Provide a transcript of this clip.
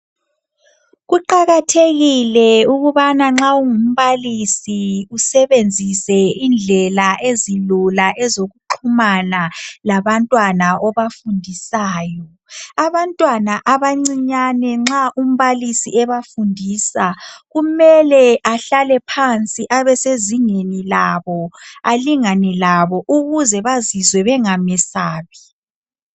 Kuqakathekile ukubana nxa ungumbalisi usebenzise indlela ezilula ezokuxhumana labantwana obafundisayo. Abantwana abancinyane nxa umbalisi ebafundisa kumele ahlale phansi abe sezingeni labo alingane labo ukuze bazizwe bengamesabi.